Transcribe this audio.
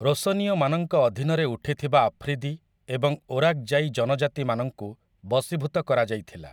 ରୋଶନୀୟମାନଙ୍କ ଅଧୀନରେ ଉଠିଥିବା ଆଫ୍ରିଦି ଏବଂ ଓରାକ୍‌ଜାଇ ଜନଜାତିମାନଙ୍କୁ ବଶୀଭୂତ କରାଯାଇଥିଲା ।